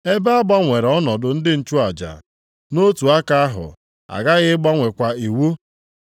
Ebe a gbanwere ọnọdụ ndị nchụaja, nʼotu aka ahụ, a ghaghị ịgbanwekwa iwu.